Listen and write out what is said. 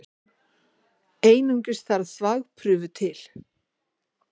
Einungis þarf þvagprufu til.